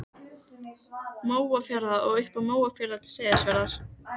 Mjóafjarðar og upp af Mjóafirði til Seyðisfjarðar.